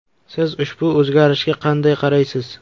Siz ushbu o‘zgarishga qanday qaraysiz?